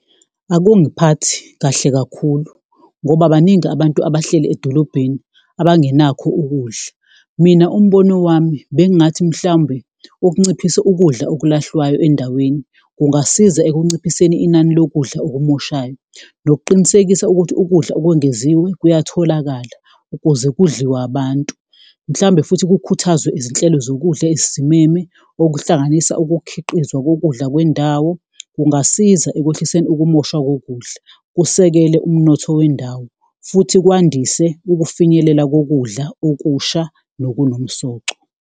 Akungiphathi kahle kakhulu ngoba baningi abantu abahleli edolobheni abangenakho ukudla, mina umbono wami bengathi mhlawumbe ukunciphisa ukudla okulahlwayo endaweni kungasiza ekunciphiseni inani lokudla okumoshayo. Nokuqinisekisa ukuthi ukudla okwengeziwe kuyatholakala ukuze kudliwe abantu, mhlawumbe futhi kukhuthazwe izinhlelo zokudla ezisimeme okuhlanganisa ukukhiqizwa kokudla kwendawo. Kungasiza ekwehliseni ukumoshwa kokudla, kusekele umnotho wendawo futhi kwandise ukufinyelela kokudla okusha nokunomsoco.